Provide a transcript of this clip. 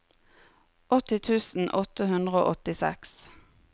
åtti tusen åtte hundre og åttiseks